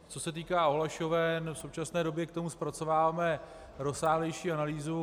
Co se týká ohlašoven, v současné době k tomu zpracováváme rozsáhlejší analýzu.